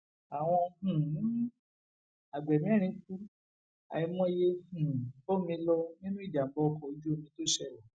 àwọn um àgbẹ mẹrin kù àìmọye um bọmi lọ nínú ìjàmbá ọkọ ojú omi tó ṣẹlẹ